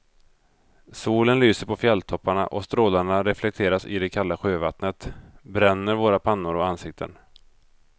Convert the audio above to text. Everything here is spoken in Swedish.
Solen lyser på fjälltopparna och strålarna reflekteras i det kalla sjövattnet, bränner våra pannor och ansikten.